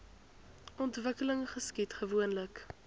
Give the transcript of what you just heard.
ontwikkeling geskied gewoonlik